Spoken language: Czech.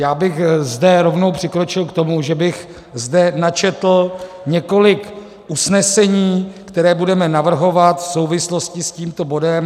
Já bych zde rovnou přikročil k tomu, že bych zde načetl několik usnesení, která budeme navrhovat v souvislosti s tímto bodem.